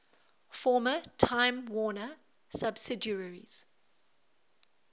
former time warner subsidiaries